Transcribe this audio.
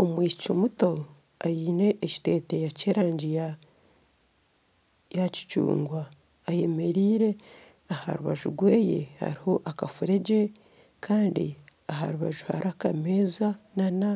omwishiki muto aine ekiteteeyi ky'erangi ya kicungwa, ayemereire aha rubaju rwe hariho akafuregye kandi aha rubaju hariho akameza nana